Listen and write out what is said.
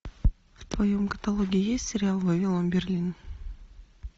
в твоем каталоге есть сериал вавилон берлин